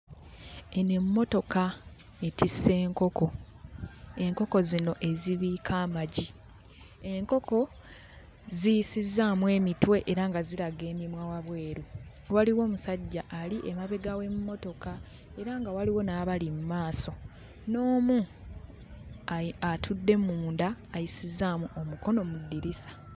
Eno emmotoka etisse nkoko. Enkoko zino ezibiika amagi. Enkoko ziyisizzaamu emitwe era nga ziraga emimwa wabweru. Waliwo omusajja ali emabega w'emmotoka era nga waliwo n'abali mu maaso n'omu ayi atudde munda ayisizzaamu omukono mu ddirisa.